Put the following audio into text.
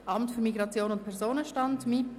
«Amt für Migration und Personenstand (MIP);